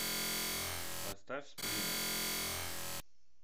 поставь сплина